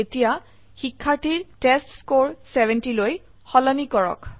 এতিয়া শিক্ষাৰ্থীৰ টেষ্টস্কৰে 70 লৈ সলনি কৰক